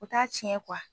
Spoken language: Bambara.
U t'a tiɲɛ